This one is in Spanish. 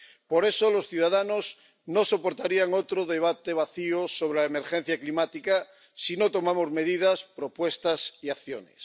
Por eso, los ciudadanos no soportarían otro debate vacío sobre la emergencia climática si no adoptamos medidas, propuestas y acciones.